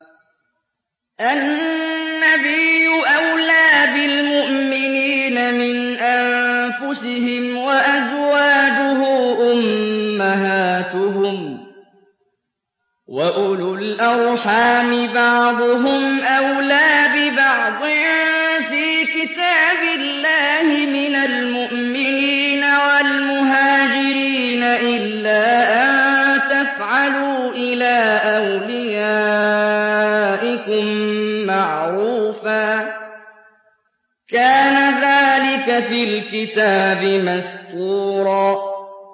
النَّبِيُّ أَوْلَىٰ بِالْمُؤْمِنِينَ مِنْ أَنفُسِهِمْ ۖ وَأَزْوَاجُهُ أُمَّهَاتُهُمْ ۗ وَأُولُو الْأَرْحَامِ بَعْضُهُمْ أَوْلَىٰ بِبَعْضٍ فِي كِتَابِ اللَّهِ مِنَ الْمُؤْمِنِينَ وَالْمُهَاجِرِينَ إِلَّا أَن تَفْعَلُوا إِلَىٰ أَوْلِيَائِكُم مَّعْرُوفًا ۚ كَانَ ذَٰلِكَ فِي الْكِتَابِ مَسْطُورًا